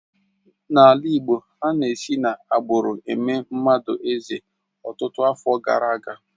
N'ala Igbo, ana-esi n'agbụrụ eme mmadụ eze ọtụtụ afọ gara aga.